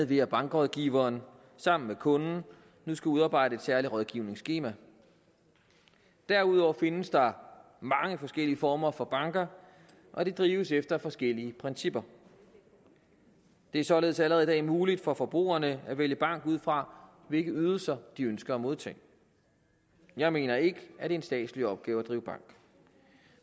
ved at bankrådgiveren sammen med kunden nu skal udarbejde et særligt rådgivningsskema derudover findes der mange forskellige former for banker og de drives efter forskellige principper det er således allerede i dag muligt for forbrugerne at vælge bank ud fra hvilke ydelser de ønsker at modtage jeg mener ikke at en statslig opgave at drive bank